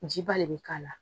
Jiba le bi k'a la.